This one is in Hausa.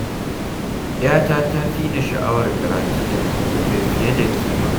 Yata ta fi ni sha'awar karatun litattafai fiye da kima.